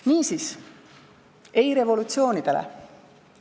Niisiis – ei revolutsioonidele!